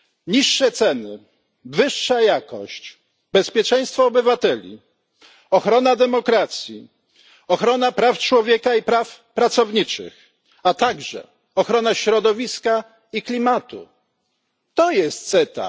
Niższe ceny, wyższa jakość, bezpieczeństwo obywateli, ochrona demokracji, ochrona praw człowieka i praw pracowniczych, a także ochrona środowiska i klimatu to jest CETA.